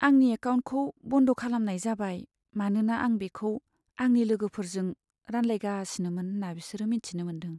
आंनि एकाउन्टखौ बन्द' खालामनाय जाबाय मानोना आं बेखौ आंनि लोगोफोरजों रानलायगासिनोमोन होन्ना बिसोरो मिथिनो मोन्दों।